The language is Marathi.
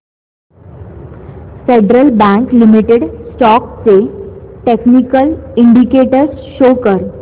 फेडरल बँक लिमिटेड स्टॉक्स चे टेक्निकल इंडिकेटर्स शो कर